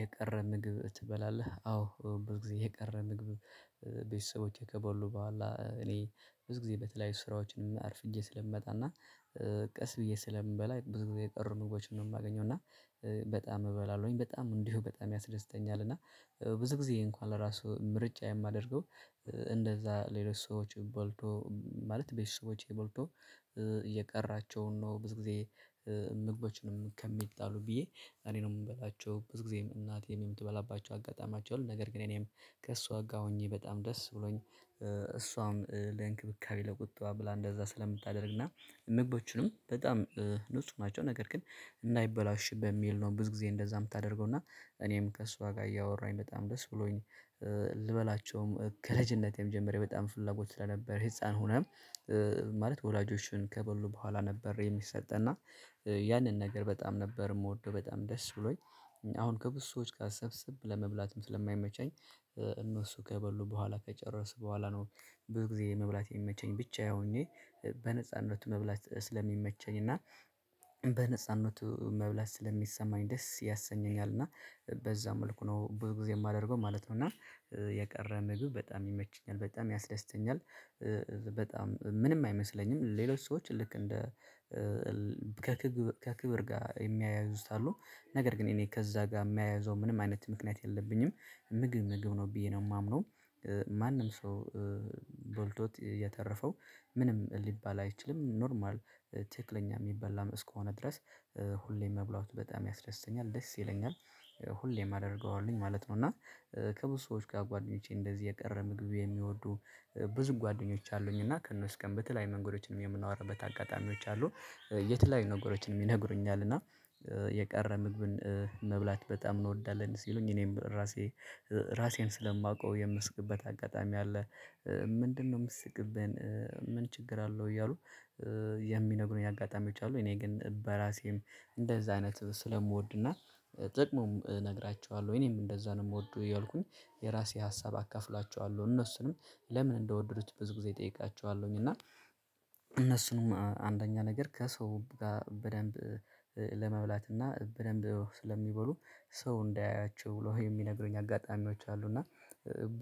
የቀረ ምግብ ትበላለህ አዎ ብዙ ጊዜ የቀረ ምግብ። ቤተሰቦቼ ከበሉ በኋላ እኔ ብዙ ጊዜ በተለያዩ ስራዎችንም አርፍጄ ስለምመጣና ቀስ ብዬ ስለምበላ ብዙ ጊዜ የጥሩ ምግቦችን ነው የማገኘው እና በጣም እበላለሁኝ። በጣም እንዲሁ በጣም ያስደስተኛል እና ብዙ ጊዜ እንኳን ለራሱ ምርጫ የማደርገው። እንደዛ ሌሎች ሰዎች በልቶ ማለት ቤት ሰዎች በልቶ እየቀራቸው ነው ብዙ ጊዜ። ምግቦችንም ከሚጣሉ ብዬ እኔ ነው የምበላቸው ብዙ ጊዜም እናቴም የምትበላባቸው አጋጣሚያቸው ነው ነገር ግን እኔም ከእሷ ጋር ሆኜ በጣም ደስ ብሎኝ። እሷም ለእንክብካቤ ለቁጠባ ብላ እንደዛ ስለምታደርግና ምግቦቹንም በጣም ንጹህ ናቸው። ነገር ግን እናይበላሽብህ በሚል ነው ብዙ ጊዜ እንደዛ የምታደርገው እና እኔም ከእሷ ጋር እያወራኝ በጣም ደስ ብሎኝ። ልበላቸውም ከልጅነቴም ጀምሮ በጣም ፍላጎት ስለነበር ህፃን ሆነም ማለት ወላጆችን ከበሉ በኋላ ነበር የሚሰጠን እና ያንን ነገር በጣም ነበር የምወደው በጣም ደስ ብሎኝ። አሁን ከብዙ ሰዎች ጋር ሰብስብ ለመብላትም ስለማይመቸኝ። እነሱ ከበሉ በኋላ ከጨረስኩ በኋላ ነው ብዙ ጊዜ መብላት የሚመቸኝ ብቻዬ ሆኜ። በነጻነቱ መብላት ስለሚመቸኝ እና በነጻነቱ መብላት ስለሚሰማኝ ደስ ያሰኘኛል እና በዛ መልኩ ነው ብዙ ጊዜ የማደርገው ማለት ነው። እና የቀረ ምግብ በጣም ይመችኛል በጣም ያስደስተኛል። በጣም ምንም አይመስለኝም ሌሎች ሰዎች ልክ እንደ ከክብር ጋር የሚያያዝዙት አሉ። ነገር ግን እኔ ከዛ ጋር የማያይዘው ምንም አይነት ምክንያት የለብኝም። ምግብ ምግብ ነው ብዬ ነው የማምነው። ማንም ሰው ቦልቶት የተረፈው ምንም ሊባል አይችልም ኖርማል። ትክክለኛ የሚበላ እስከሆነ ድረስ ሁሌም መብላት በጣም ያስደስተኛል ደስ ይለኛል። ሁሌም አደርገዋለሁኝ ማለት ነው። እና ከብዙ ሰዎች ጋር ጓደኞቼ እንደዚህ የቀረ ምግብ የሚወዱ ብዙ ጓደኞች አሉኝ እና ከእነሱ ቀን በተለያይ መንገዶችንም የምናወራበት አጋጣሚዎች አሉ። የት ላይ ነገሮችንም ይነግሩኛል እና የቀረ ምግብን መብላት በጣም እንወዳለን ሲሉኝ እኔም ራሴ ራሴን ስለማውቀው የምስቅበት አጋጣሚ አለ። ምንድነው ምስቅብን? ምን ችግር አለው እያሉ? የሚነግሩኝ አጋጣሚ አሉ እኔ ግን በራሴም እንደዛ አይነት ስለምወድና ጥቅሙም እነግራቸዋለሁ ወይ እኔም እንደዛ ነው የምወዱ ያልኩኝ። የራሴ ሀሳብ አካፍላቸዋለሁ እነሱንም ለምን እንደወደዱት ብዙ ጊዜ እጠይቃችኋለሁኝ። እና እነሱንም አንደኛ ነገር ከሰው ጋር በደንብ ለመብላት እና በደንብ ስለሚበሉ ሰው እንዳያያቸው ብለው የሚነግሩኝ አጋጣሚዎች አሉ። እና